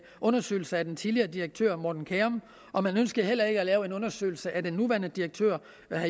undersøgelse af den tidligere direktør morten kjærum og man ønskede heller ikke at lave en undersøgelse af den nuværende direktør